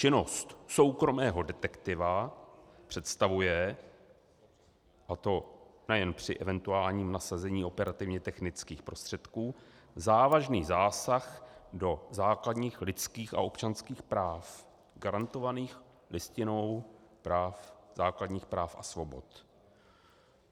Činnost soukromého detektiva představuje, a to nejen při eventuálním nasazení operativně technických prostředků, závažný zásah do základních lidských a občanských práv garantovaných Listinou základních práv a svobod.